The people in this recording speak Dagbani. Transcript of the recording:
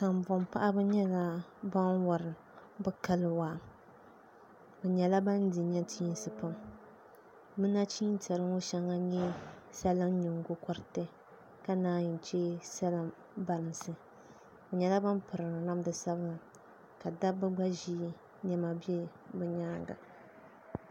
Kanboŋ paɣaba nyɛla ban wori waa bi nyɛla ban di nachiinsi pam bi nachin tiɛri ŋɔ shɛŋa n nyɛ salin nyingokoriti ka naan yi chɛ salin bansi bi nyɛla bin piri namdi sabila ka dabba gba ʒi niɛma bɛ bi nyaanga